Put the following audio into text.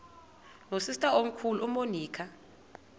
nosister omkhulu umonica